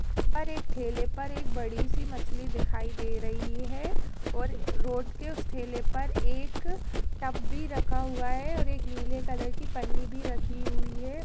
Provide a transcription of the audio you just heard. --पर एक ठेले पर एक बड़ी सी मछली दिखाई दे रही है और रोड के उस ठेले पर एक टब भी रखा हुआ है और नीले कलर की पन्नी भी रखी हुई है।